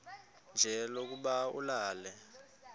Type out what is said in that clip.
nje lokuba ulale